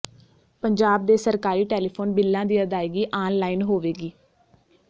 ਪੰਜਾਬ ਦੇ ਸਰਕਾਰੀ ਟੈਲੀਫੋਨ ਬਿੱਲਾਂ ਦੀ ਅਦਾਇਗੀ ਆਨ ਲਾਇਨ ਹੋਵੇਗੀ